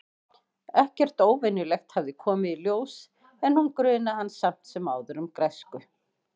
Ekkert óvenjulegt hafði komið í ljós- en hún grunaði hann samt sem áður um græsku.